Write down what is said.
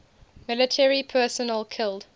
military personnel killed